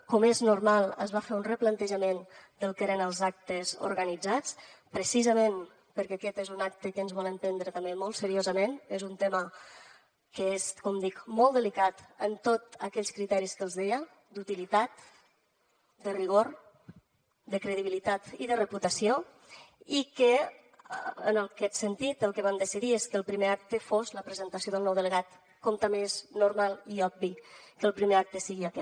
com és normal es va fer un replantejament del que eren els actes organitzats precisament perquè aquest és un acte que ens volem prendre també molt seriosament és un tema que és com dic molt delicat en tots aquells criteris que els deia d’utilitat de rigor de credibilitat i de reputació i que en aquest sentit el que vam decidir és que el primer acte fos la presentació del nou delegat com també és normal i obvi que el primer acte sigui aquest